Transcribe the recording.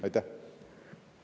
Aitäh!